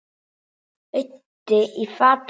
Auddi í fatabúð